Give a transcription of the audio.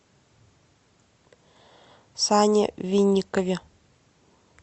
сане винникове